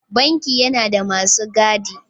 Banki yana da masu gadi.